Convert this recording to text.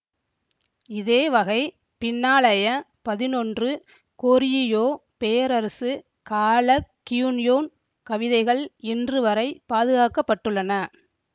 இதேவகை பின்னாளைய பதினொன்று கோரியியோ பேரரசு கால கியூன்யோன் கவிதைகள் இன்றுவரை பாதுகாக்க பட்டுள்ளன